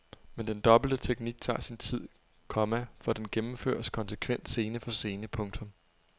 Men den dobbelte teknik tager sin tid, komma for den gennemføres konsekvent scene for scene. punktum